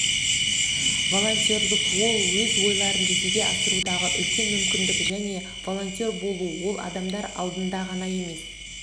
волонтерлік ол өз ойларын жүзеге асырудағы үлкен мүмкіндік және волонтер болу ол адамдар алдында ғана емес